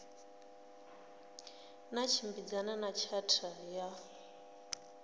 na tshimbidzana na tshatha ya